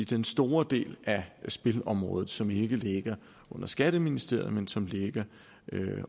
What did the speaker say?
den store del af spilområdet som ikke ligger under skatteministeriet men som ligger